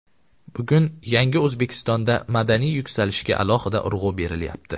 Bugun yangi O‘zbekistonda madaniy yuksalishga alohida urg‘u berilyapti.